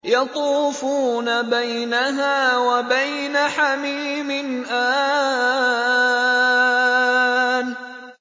يَطُوفُونَ بَيْنَهَا وَبَيْنَ حَمِيمٍ آنٍ